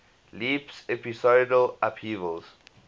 leaps episodal upheavals